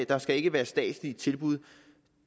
der skal ikke være statslige tilbud